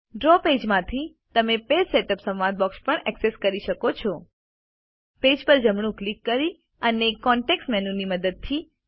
draw પેજમાંથી તમે page setup સંવાદ બોક્સ પણ ઍક્સેસ કરી શકો છો પેજ પર જમણું ક્લિક કરી અને કન્ટેક્સ્ટ મેનુ ની મદદથી